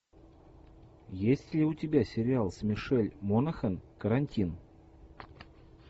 есть ли у тебя сериал с мишель монахэн карантин